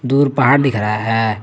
दूर पहाड़ दिख रहा है।